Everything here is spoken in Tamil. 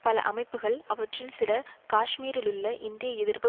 பல அமைப்புக்கள் அவற்றில் சில காஷ்மீரிலுள்ள இந்திய எதிர்ப்பு